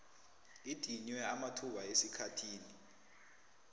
idinywe amathuba esikhathini